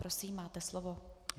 Prosím, máte slovo.